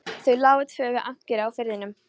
Þau lágu tvö við ankeri á firðinum.